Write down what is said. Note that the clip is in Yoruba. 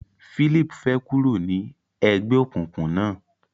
Phillip fè kúrò ní ègbéòkùnkùn na.